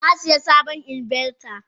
Nasiya sabon inverter.